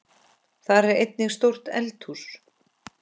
Þar er einnig stórt eldhús.